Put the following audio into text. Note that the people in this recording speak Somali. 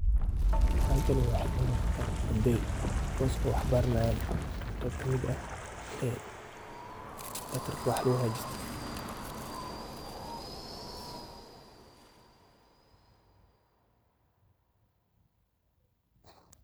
Halakani waxa iga muqata arday kuwas p waxbaranayan e kamid ah Labtarka wax lagu hagjisto.